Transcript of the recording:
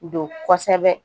Don kosɛbɛ